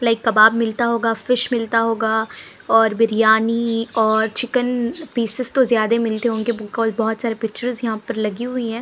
Like kebab मिलता होगा fish मिलता होगा और बिरयानी और चिकन पीसेस तो ज्यादे मिलते होंगे बिकॉज बहोत सारे पिक्चर्स यहां पे लगी हुई हैं।